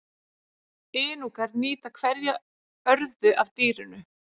Inúkar nýta hverja örðu af dýrinu.